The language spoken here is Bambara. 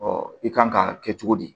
i kan ka kɛ cogo di